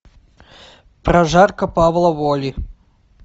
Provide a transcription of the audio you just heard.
прожарка павла воли